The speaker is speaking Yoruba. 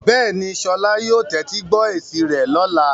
Bẹ́ẹ̀ni, Sola yóò tẹ́tí gbọ́ etí rẹ̀ lọ́la.